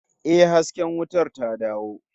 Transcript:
Yes, the light is back